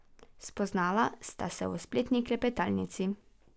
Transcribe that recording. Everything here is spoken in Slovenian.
Spoznala sta se v spletni klepetalnici.